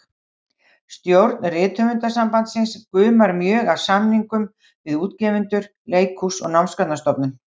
Stjórn Rithöfundasambandsins gumar mjög af samningum við útgefendur, leikhús og Námsgagnastofnun.